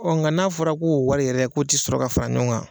Ɔ nka n'a fɔra k'o wari yɛrɛ k'o tɛ sɔrɔ ka fara ɲɔgɔn kan.